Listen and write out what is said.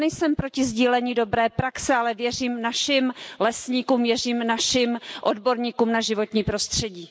Já nejsem proti sdílení dobré praxe, ale věřím našim lesníkům, věřím našim odborníkům na životní prostředí.